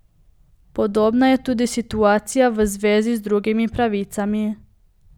Podobna je tudi situacija v zvezi z drugimi pravicami.